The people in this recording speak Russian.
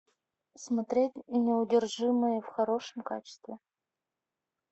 смотреть неудержимые в хорошем качестве